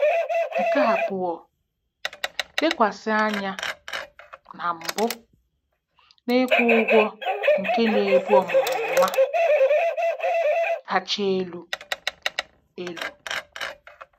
Nke abụọ, lekwasị anya na mbụ n'ịkwụ ụgwọ nke na-ebu ọmụrụ nwa kacha elu. elu.